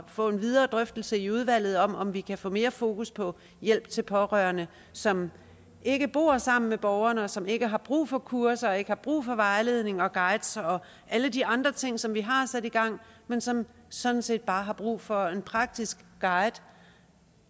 få en videre drøftelse i udvalget om om vi kan få mere fokus på hjælp til pårørende som ikke bor sammen med borgeren og som ikke har brug for kurser ikke har brug for vejledning og guides og alle de andre ting som vi har sat i gang men som sådan set bare har brug for en praktisk guide